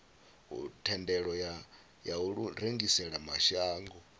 thendelo ya u rengisela mashango